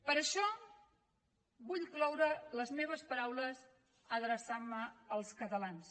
per això vull cloure les meves paraules adreçant me als catalans